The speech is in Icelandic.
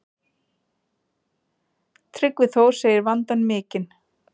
Tryggvi Þór segir vandann mikinn.